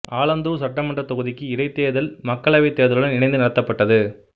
ஆலந்தூர் சட்டமன்றத் தொகுதிக்கு இடைத்தேர்தல் மக்களவைத் தேர்தலுடன் இணைந்து நடத்தப்பட்டது